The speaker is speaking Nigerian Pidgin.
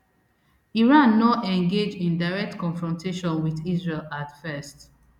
iran no engage in direct confrontation wit israel at first